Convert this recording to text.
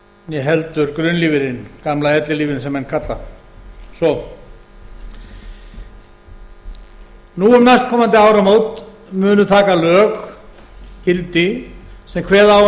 né heldur grunnlífeyrinn gamla ellilífeyrinn sem menn kalla svo nú um næstkomandi áramót munu taka lög gildi sem kveða á um